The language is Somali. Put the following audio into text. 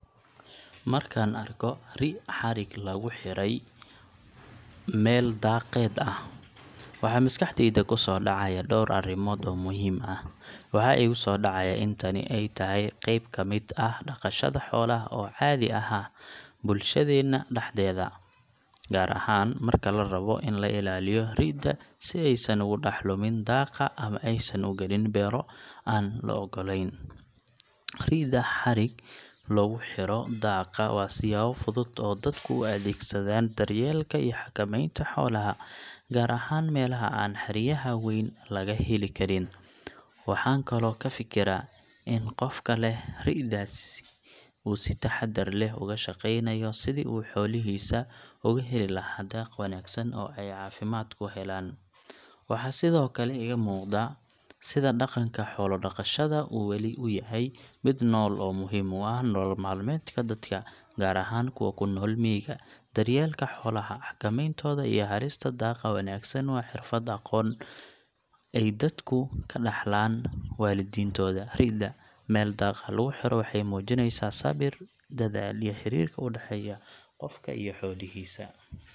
Markaan arko ri' xarig loogu xidhay meel daaqeed ah, waxaa maskaxdayda kusoo dhacaya dhowr arrimood oo muhiim ah. Waxaa igu soo dhacaya in tani ay tahay qayb ka mid ah dhaqashada xoolaha oo caadi ah bulshadeenna dhexdeeda, gaar ahaan marka la rabo in la ilaaliyo ri’da si aysan ugu dhex lumin daaqa ama aysan u gelin beero aan loo oggolayn. Ri’da xarig loogu xiro daaqa waa siyaabo fudud oo dadku u adeegsadaan daryeelka iyo xakamaynta xoolaha, gaar ahaan meelaha aan xeryaha weyn laga heli karin. Waxaan kaloo ka fikiraa in qofka leh ri'daasi uu si taxaddar leh uga shaqeynayo sidii uu xoolihiisa uga heli lahaa daaq wanaagsan oo ay caafimaad ku helaan. Waxaa sidoo kale iga muuqda sida dhaqanka xoolo-dhaqashada uu weli u yahay mid nool oo muhiim u ah nolol maalmeedka dadka, gaar ahaan kuwa ku nool miyiga. Daryeelka xoolaha, xakamayntooda iyo helista daaqa wanaagsan waa xirfad iyo aqoon ay dadku ka dhaxlaan waalidiintood. Ri’da meel daaq ah lagu xiro waxay muujinaysaa sabir, dedaal iyo xiriirka u dhexeeya qofka iyo xoolihiisa.